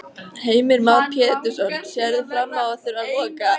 Heimir Már Pétursson: Sérðu fram á að þurfa að loka?